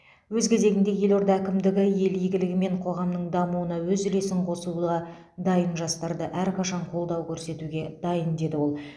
өз кезегінде елорда әкімдігі ел игілігі мен қоғамның дамуына өз үлесін қосуға дайын жастарды әрқашан қолдау көрсетуге дайын деді ол